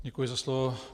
Děkuji za slovo.